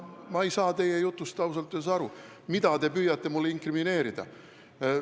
Ma ei saa ausalt öeldes aru, mida te püüate mulle inkrimineerida.